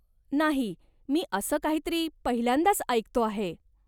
नाही, मी असं काहीतरी पहिल्यांदाच ऐकतो आहे.